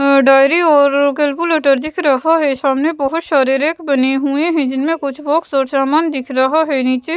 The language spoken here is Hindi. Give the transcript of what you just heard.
अ डायरी और कैलकुलेटर दिख रहा है सामने बहुत सारे रेक बने हुए हैं जिनमें कुछ बॉक्स और सामान दिख रहा है नीचे --